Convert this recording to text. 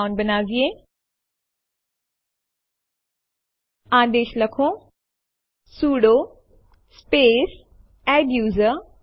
demo2 ત્યાં છે એ જોવા માટે લખો એલએસ સ્પેસ homeanirban અને Enter ડબાઓ